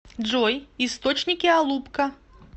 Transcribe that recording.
джой источники алупка